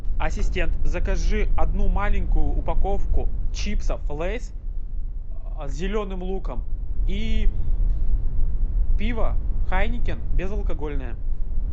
ассистент закажи одну маленькую упаковку чипсов лейс с зеленым луком и пиво хайнекен безалкогольное